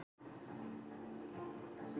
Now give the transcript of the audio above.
Uppruni hefða og siða er oft ansi óljós.